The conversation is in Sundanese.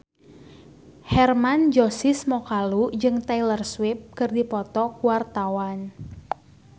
Hermann Josis Mokalu jeung Taylor Swift keur dipoto ku wartawan